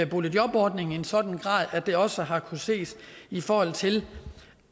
boligjobordningen i en sådan grad at det også har kunnet ses i forhold til